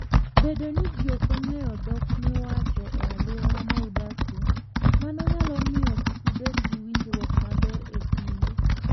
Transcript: Bedo ni ji ok ong'eyo dhok miwacho e alwora ma udakie, mano nyalo miyo kik ubed gi winjruok maber e kindu.